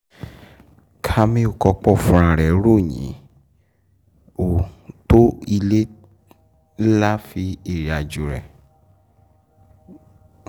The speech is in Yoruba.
kamiu kọ́pọ́ fúnra ẹ̀ ròyìn ó tó ilé lá fi ìrìnàjò rẹ̀.